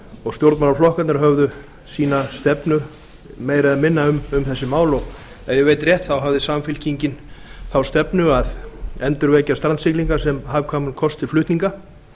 og stjórnmálaflokkarnir höfðu sína stefnu meira eða minna um þessi mál og ef ég veit rétt hafði samfylkingin þá stefnu að endurvekja strandsiglingar sm hagkvæman kost til flutninga